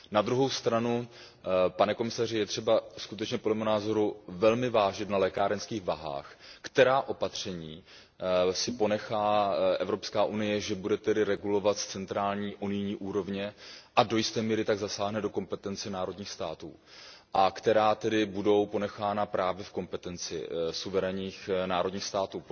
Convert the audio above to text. Na druhou stranu, pane komisaři, je třeba skutečně, podle mého názoru, velmi vážit na lékárenských váhách, která opatření si ponechá EU, že bude tedy regulovat z centrální unijní úrovně a do jisté míry tak zasáhne do kompetence národních států, a která tedy budou ponechána právě v kompetenci suverénních národních států.